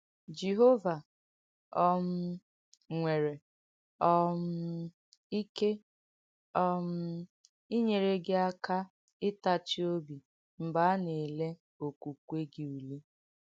Jèhóvà um nwèrè um ìké um ìnyèrè gị àkà ìtàchì óbì m̀gbè á nà-èlè okẁukwè gị ùlé.